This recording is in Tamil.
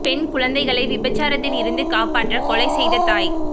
பெண் குழந்தைகளை விபச்சாரத்தில் இருந்து காப்பாற்ற கொலை செய்த தாய்